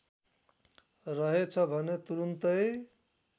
रहेछ भने तुरुन्तै